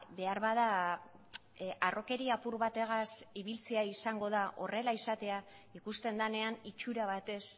beharbada harrokeria apur bategaz ibiltzea izango da horrela izatea ikusten denean itxura batez